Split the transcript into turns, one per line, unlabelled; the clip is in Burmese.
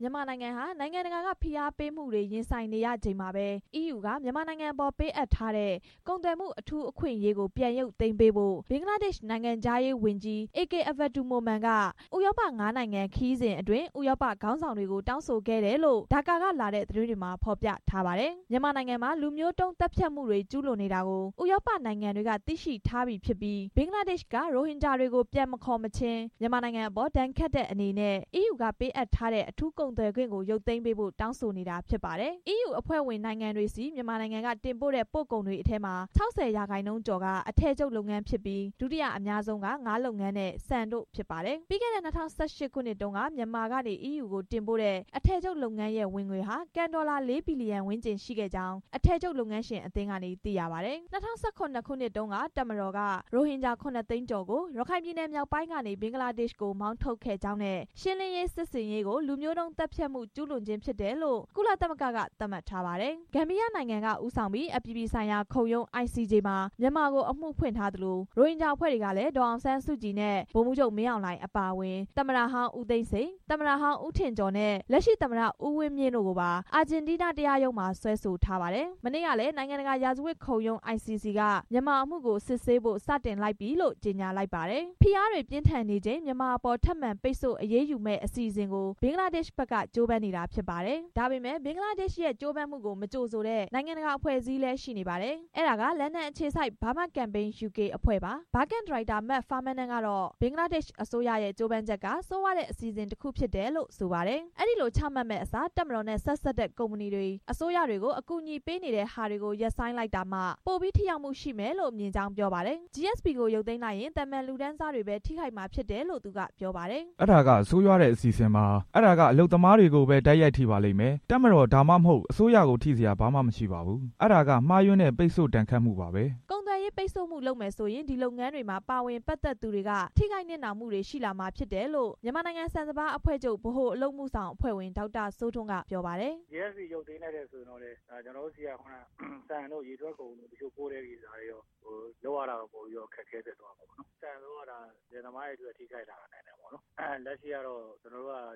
မြန်မာနိုင်ငံဟာ နိုင်ငံတကာက ဖိအားပေးမှုတွေရင်ဆိုင်နေရချိန်မှာပဲ အီးယူက မြန်မာနိုင်ငံအပေါ် ပေးအပ်ထားတဲ့ ကုန်သွယ်မှုအထူးအခွင့်အရေးကို ပြန်ရုပ်သိမ်းပေးဖို့ ဘင်္ဂလားဒေ့ရှ် နိုင်ငံခြားရေးဝန်ကြီး အေကေအဗ္ဗဒူမိုမန်က ဥရောပ ငါးနိုင်ငံခရီးစဉ်အတွင်း ဥရောပခေါင်းဆောင်တွေကို တောင်းဆိုခဲ့တယ်လို့ ဒါကာ ကလာတဲ့ သတင်းတွေမှာ ဖော်ပြထားပါတယ်။ မြန်မာနိုင်ငံမှာ လူမျိုးတုံးသတ်ဖြတ်မှုတွေ ကျူးလွန်နေတာကို ဥရောပနိုင်ငံတွေက သိရှိထားပြီဖြစ်ပြီး ဘင်္ဂလားဒေ့ ရှ်က ရိုဟင်ဂျာတွေကို ပြန်မခေါ်မချင်း မြန်မာနိုင်ငံအပေါ် ဒဏ်ခတ်တဲ့အနေနဲ့ အီးယူကပေးအပ်ထားတဲ့ အထူး ကုန်သွယ်ခွင့်ကို ရုပ်သိမ်းပေးဖို့ တောင်းဆိုနေတာဖြစ်ပါတယ်။ အီးယူအဖွဲ့ဝင်နိုင်ငံတွေဆီ မြန်မာနိုင်ငံကတင်ပို့တဲ့ ပို့ကုန်တွေအထဲမှာ ၆၀ ရာခိုင်နှုန်းကျော်က အထည်ချုပ် လုပ်ငန်းဖြစ်ပြီး ဒုတိယအများဆုံးက ငါးလုပ်ငန်းနဲ့ ဆန်တို့ဖြစ်ပါတယ်။ ပြီးခဲ့တဲ့ ၂၀၁၈ တုန်းက မြန်မာကနေ EU ကို တင်ပို့တဲ့ အထည်ချုပ်လုပ်ငန်းရဲ့ ဝင်ငွေဟာ ကန်ဒေါ်လာ ၄ ဘီလီယံ ဝန်းကျင်ရှိခဲ့ကြောင်း အထည်ချုပ် လုပ်ငန်းရှင်အသင်းကနေ သိရပါတယ်။ ၂၀၁၇ ခုနှစ်တုန်းက တပ်မတော်က ရိုဟင်ဂျာ ၇ သိန်းကျော်ကို ရခိုင်ပြည်နယ်မြောက်ပိုင်းကနေ ဘင်္ဂလားဒေ့ရှ်ကို မောင်းထုတ်ခဲ့ကြောင်းနဲ့ ရှင်းလင်းရေးစစ်ဆင်ရေးကို လူမျိုးတုံးသတ်ဖြတ်မှု ကျူးလွန်ခြင်းဖြစ်တယ်လို့ ကုလသမဂ္ဂက သတ်မှတ်ထားပါတယ်။ ဂမ်ဘီယားနိုင်ငံက ဦးဆောင်ပြီးတော့ အပြည်ပြည်ဆိုင်ရာခုံရုံး ICJ မှာ မြန်မာကို အမှုဖွင့်ထားသလို၊ ရိုဟင်ဂျာ အဖွဲ့တွေကလည်း ဒေါ်အောင်ဆန်းစုကြည်နဲ့ ဗိုလ်ချုပ်မှူးကြီး မင်းအောင်လှိုင် အပါအဝင် သမ္မတဟောင်း ဦးသိန်းစိန်၊ သမ္မတဟောင်း ဦးထင်ကျော်နဲ့ လက်ရှိသမ္မတ ဦးဝင်းမြင့်တို့ကိုပါ အာဂျင်တီးနားတရားရုံးမှာ စွဲဆိုထားပါတယ်။ မနေ့ကလည်း နိုင်ငံတကာ ရာဇဝတ်ခုံရုံး ICC က မြန်မာအမှုကို စစ်ဆေးဖို့ စတင်လိုက်ပြီလို့ ကြေညာလိုက်ပါတယ်။ ဖိအားတွေ ပြင်းထန်နေချိန်၊ မြန်မာအပေါ် ထပ်မံပိတ်ဆို့ အရေးယူမယ့်အစီအစဉ်ကိုပါ ဘင်္ဂလားဒေ့ရှ်ဘက်က ကြိုးပမ်းနေတာဖြစ်ပါတယ်။ ဒါပေမဲ့ ဘင်္ဂလားဒေ့ရှ်ရဲ့ ကြိုးပမ်းမှုကို မကြိုဆိုတဲ့ နိုင်ငံတကာအဖွဲ့အစည်းလည်း ရှိနေပါတယ်။ အဲဒါက လန်ဒန်အခြေစိုက် Burma Campaign UK အဖွဲ့ပါ။ Burma Campaign UK အဖွဲ့ ဒါရိုက်တာ Mark Farmaner ကတော့ ဘင်္ဂလားဒေ့ရှ် အစိုးရရဲ့ ကြိုးပမ်းချက်က ဆိုးရွားတဲ့ အစီအစဉ်တစ်ခုဖြစ်တယ်လို့ ဆိုပါတယ်။ အဲဒီလို ချမှတ်မယ့်အစား တပ်မတော်နဲ့ ဆက်စပ်နေတဲ့ ကုမ္ပဏီတွေ၊ အစိုးရတွေကို အကူအညီပေးနေတဲ့ဟာကို ရပ်ဆိုင်းလိုက်တာကမှ ပိုပြီးတော့ထိရောက်မှု ရှိမယ်လို့မြင်ကြောင်း ပြောပါတယ်။ GSP ကိုရုပ်သိမ်းလိုက်ရင် သာမန်လူတန်းစားတွေပဲ ထိခိုက်မှာဖြစ်တယ်လို့ သူက ပြောပါတယ်။
"အဲဒါက ဆိုးရွားတဲ့ အစီအစဉ်ပါ။ အဲဒါက အလုပ်သမားတွေကိုပဲ တိုက်ရိုက်ထိပါလိမ့်မယ်။ တပ်မတော် ဒါမှမဟုတ် အစိုးရကို ထိစရာ ဘာမှမရှိပါဘူး။ အဲဒါကမှားယွင်းတဲ့ ပိတ်ဆို့ဒဏ်ခတ်မှုပါပဲ
" ကုန်သွယ်ရေးပိတ်ဆို့မှု လုပ်မယ်ဆိုရင် ဒီလုပ်ငန်းတွေမှာ ပါဝင်ပတ်သက်သူတွေက ထိခိုက်နစ်နာမှု ရှိလာမှာဖြစ်တယ်လို့ မြန်မာနိုင်ငံဆန်စပါး အဖွဲ့ချုပ် ဗဟိုအလုပ်အမှုဆောင်အဖွဲ့ဝင် ဒေါက်တာ စိုးထွန်း က ပြောပါတယ်
။ "ရုပ်သိမ်းရင်တော့ ထိခိုက်မှုရှိတယ်။ ဆန်ဆိုရင် အီးယူကို တန်ချိန်နှစ်သိန်းခွဲ၊ သုံးသိန်းလောက်ပို့တာဆိုတော့ ဒါတွေကိုသွားပြီး ထိခိုက်နိုင်တယ်။ လက်ရှိ တရုတ်ကလည်း